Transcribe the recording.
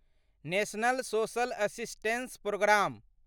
national social assistance programme